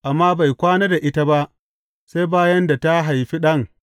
Amma bai kwana da ita ba, sai bayan da ta haifi ɗan.